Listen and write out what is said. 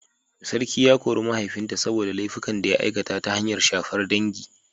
Sarki ya kori mahaifinta saboda laifukan da ya aikata, ta hanyar shafar dangi.